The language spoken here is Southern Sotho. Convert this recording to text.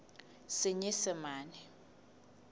senyesemane